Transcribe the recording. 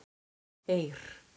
Eir